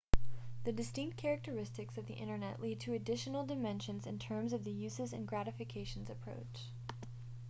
the distinct characteristics of the internet lead to additional dimensions in terms of the uses and gratifications approach